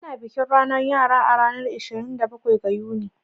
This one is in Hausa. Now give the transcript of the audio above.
Ana bikin ranar yara a ranar ishirin da bakwai ga Yuni.